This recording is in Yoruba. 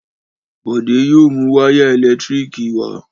Bọ̀dé yóò mu wáyà ẹ̀lẹ́tíríkì wá